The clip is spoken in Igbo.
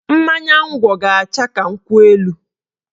Mmanya ngwọ ga-acha ka nkwụ elu